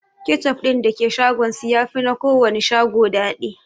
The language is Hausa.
Kechup din da ke shagon su yafi na kowanne shago daɗi